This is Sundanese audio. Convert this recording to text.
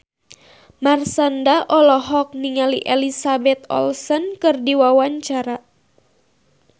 Marshanda olohok ningali Elizabeth Olsen keur diwawancara